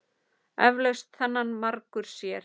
Eflaust þennan margur sér.